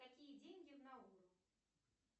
какие деньги в науру